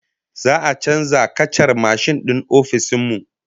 Za'a canza kacar mashin din ofishin mu